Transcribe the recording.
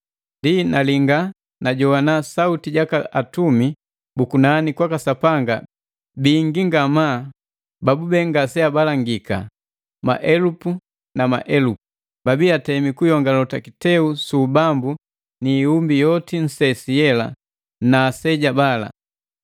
Ndi nalinga, na jogwana sauti jaka atumi bu kunani kwaka Sapanga bingi ngamaa babube ngase abalangika, maelupu na maelupu. Babii atemi kuyongalota kiteu su ubambu ni ihumbi yomi nsesi yela na aseja bala;